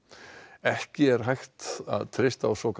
ekki er hægt að treysta á svokallað